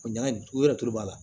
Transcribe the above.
O ɲana o yɛrɛ t'o b'a la